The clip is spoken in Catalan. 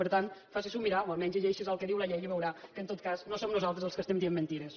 per tant faci s’ho mirar o almenys llegeixi’s el que diu la llei i veurà que en tot cas no som nosaltres els que estem dient mentides